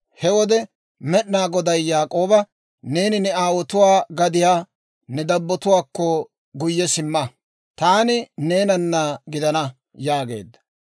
He wode Med'inaa Goday Yaak'ooba, «Neeni ne aawotuwaa gadiyaa, ne dabbotuwaakko guyye simma; taani neenana gidana» yaageedda.